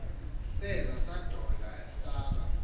saza sadola asaba